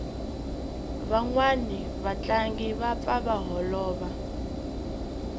vanwani va tlangi va pfa va holova